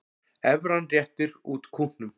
Evran réttir út kútnum